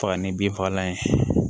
Faga ni binfagalan ye